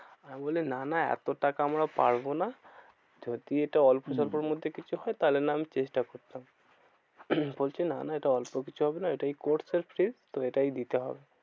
আমি বলি না না এত টাকা আমরা পারবো না। যদি এটা অল্প স্বল্পর মধ্যে কিছু হয় তাহলে নয় আমি চেষ্টা করতাম। বলছে না না এটা অল্প কিছু হবে না। এটাই course এর fees তো এটাই দিতে হবে।